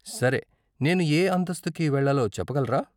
సరే, నేను ఏ అంతస్తుకి వెళ్ళాలో చెప్పగలరా?